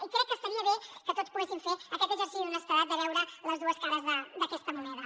i crec que estaria bé que tots poguéssim fer aquest exercici d’honestedat de veure les dues cares d’aquesta moneda